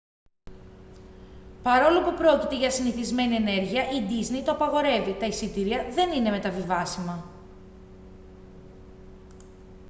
παρόλο που πρόκειται για συνηθισμένη ενέργεια η ντίσνεϊ το απαγορεύει τα εισιτήρια δεν είναι μεταβιβάσιμα